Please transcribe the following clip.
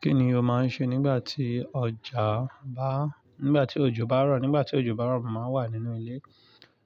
Kí ni o máa ń ṣe nígbà tí ọjà bá, nígbà tí òjò bá rọ̀? Nígbà tí òjò bá rọ̀, mo máa ń wà nínú ilé